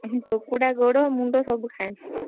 କୁକୁଡ଼ା ଗୋଡ ମୁଣ୍ଡ ସବୁ ଖାଏ।